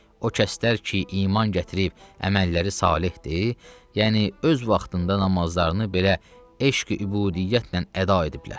O kəslər ki, iman gətirib əməlləri salehdir, yəni öz vaxtında namazlarını belə eşqi-übüdiyyətlə əda ediblər.